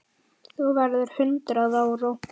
Þú verður hundrað ára.